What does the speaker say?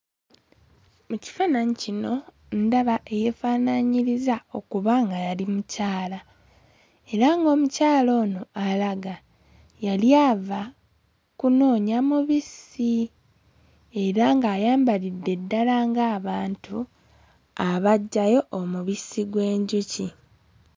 Mu kifaananyi kino ndaba eyeefaanaanyiriza okuba nga yali mukyala era ng'omukyala ono alaga yali ava kunoonya mubisi era ng'ayambalidde ddala ng'abantu abaggyayo omubisi gw'enjuki.